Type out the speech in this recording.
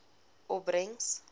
opbrengs